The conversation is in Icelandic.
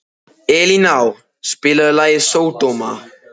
Elíná, spilaðu lagið „Sódóma“.